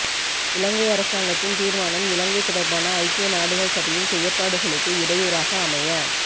இலங்கை அரசாங்கத்தின் தீர்மானம் இலங்கை தொடர்பான ஐக்கிய நாடுகள் சபையின் செயற்பாடுகளுக்கு இடையூறாக அமைய